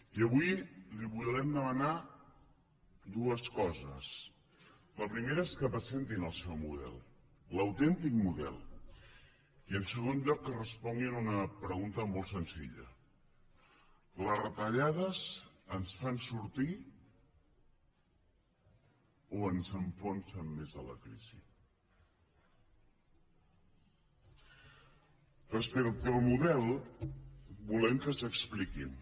i avui li volem demanar dues coses la primera és que presentin el seu model l’autèntic model i en segon lloc que responguin a una pregunta molt senzilla les retallades ens fan sortir o ens enfonsen més a la crisi respecte al model volem que s’expliquin